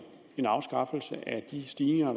en afskaffelse af de stigninger